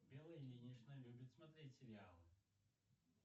белла ильинична любит смотреть сериалы